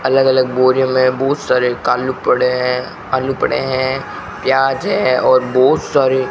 अलग अलग बोरियों में बहुत सारे कालू पड़े हैं आलू पड़े हैं प्याज है और बहुत सारे --